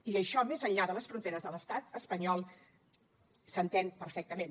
i això més enllà de les fronteres de l’estat espanyol s’entén perfectament